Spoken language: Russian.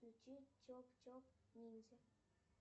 включи чоп чоп ниндзя